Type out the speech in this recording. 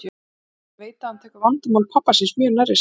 Svenni veit að hann tekur vandamál pabba síns mjög nærri sér.